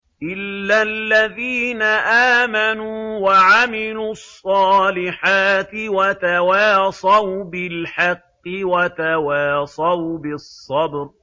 إِلَّا الَّذِينَ آمَنُوا وَعَمِلُوا الصَّالِحَاتِ وَتَوَاصَوْا بِالْحَقِّ وَتَوَاصَوْا بِالصَّبْرِ